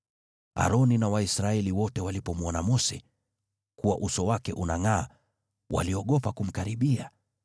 Aroni na Waisraeli wote walipomwona Mose, kuwa uso wake unangʼaa, waliogopa kumkaribia.